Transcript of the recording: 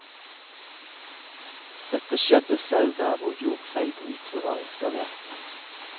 Dette skjedde selv der hvor jordfeilbrytere var installert.